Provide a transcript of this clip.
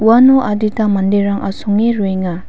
uano adita manderang asonge roenga.